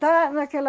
Tá naquela...